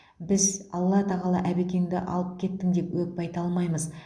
біз алла тағала әбекеңді алып кеттің деп өкпе айта алмаймыз